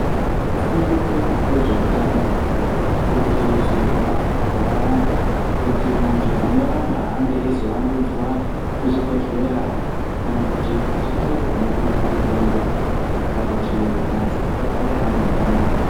Fundo yezveutano iri kukurudzirwa makore anaya kuti antu anorapa ange eizoandudzwa muzvibhedhlera kana kuti zvitoro zvinotengesa mitombo kana kuti antu agare ane utano.